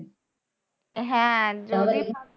হ্যাঁ যদি